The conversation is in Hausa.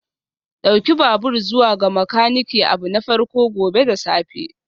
Ɗauki babur zuwa ga makaniki abu na farko gobe da safe